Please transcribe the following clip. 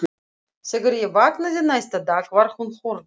Þegar ég vaknaði næsta dag var hún horfin.